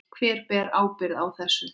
Hver ber ábyrgð á þessu?